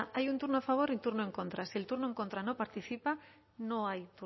hay un turno a favor y un turno en contra si el turno en contra no participa no hay